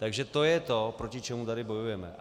Takže to je to, proti čemu tady bojujeme.